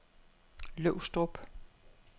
Løvstrup